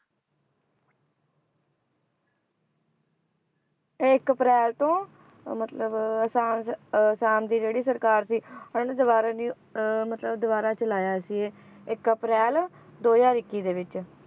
ਇੱਕ ਅਪ੍ਰੈਲ ਤੋਂ ਮਤਲਬ ਆਸਾਮ 'ਚ ਆਸਾਮ ਦੀ ਜਿਹੜੀ ਸਰਕਾਰ ਸੀ ਹੁਣ ਇਹਨੂੰ ਦੁਬਾਰਾ ਰਿ~ ਅਹ ਮਤਲਬ ਦੁਬਾਰਾ ਚਲਾਇਆ ਸੀ ਇਹ ਇੱਕ ਅਪ੍ਰੈਲ ਦੋ ਹਜ਼ਾਰ ਇਕਿ ਦੇ ਵਿੱਚ